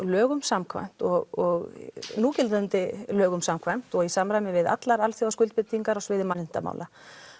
lögum samkvæmt og núgildandi lögum samkvæmt og í samræmi við allar á sviði mannréttindamála